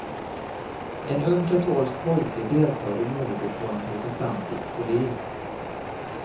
En ung katolsk pojke deltar i mordet på en protestantisk polis.